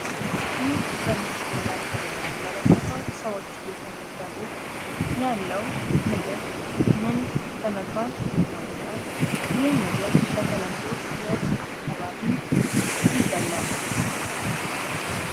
ይህ በምስሉ ላይ የምንመለከተው ሰዎች የተመዘገቡት ያለው ምግብ ምን በመባል ይታወቃል? ይህ ነገር በተለምዶ የት አካባቢ ይበላል?